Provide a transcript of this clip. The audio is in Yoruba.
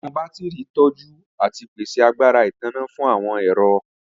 Awọn batiri tọju ati pese agbara itanna fun awọn ẹrọ.